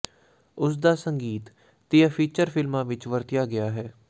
ਉਸ ਦਾ ਸੰਗੀਤ ਤੀਹ ਫੀਚਰ ਫਿਲਮਾਂ ਵਿੱਚ ਵਰਤਿਆ ਗਿਆ ਸੀ